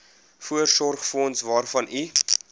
voorsorgsfonds waarvan u